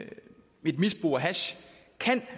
hash